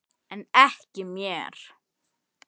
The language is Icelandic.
En ekki mér.